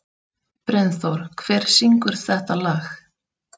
Brynþór, hver syngur þetta lag?